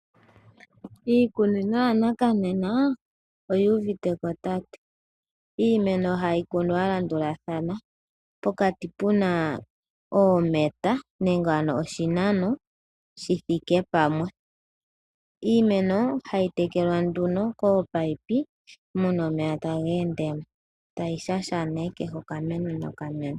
Iikunino yo ngashingeyi oyu uviteko. Iimeno hayi kunwa ya landulathana pokati pena oo meta nenge oshinano shi thike pamwe. Iimeno hayi tekelwa kominino muna omeya ta ga ende taga shashamine oka meno noka meno.